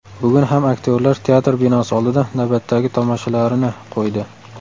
Bugun ham aktyorlar teatr binosi oldida navbatdagi tomoshalarini qo‘ydi.